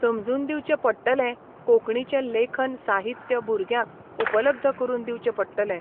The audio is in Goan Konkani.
समजून दिवचे पडटलें कोंकणीचे लेखन साहित्य भुरग्यांक उपलब्द करून दिवचें पडटलें.